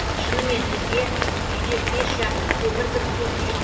шынымен бізге үйде пеш жағу көмір кіргізу қиын